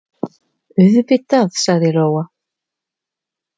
Auðvitað, sagði Lóa.